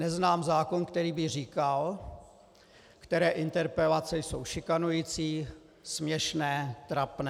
Neznám zákon, který by říkal, které interpelace jsou šikanující, směšné, trapné.